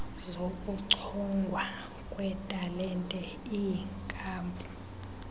zokuchongwa kwetalente iinkampu